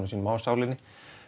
sínum á sálinni